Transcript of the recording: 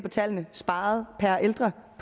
af tallene sparet per ældre